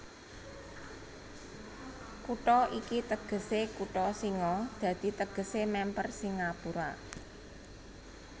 Kutha iki tegesé kutha singa dadi tegesé mèmper Singapura